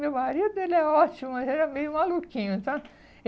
Meu marido ele é ótimo, mas ele é meio maluquinho, sabe.